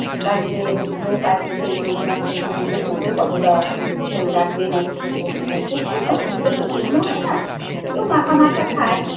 বাড়িতে লোক আছে সেই পরিমাণ তুমি বুঝে করবে কতটা একটু ঝোল রাখবে না একটু শুকনো শুকনো খুব শুকনো শুক্তো তো শুকনো হয় না কেউ মাখা মাখা খায়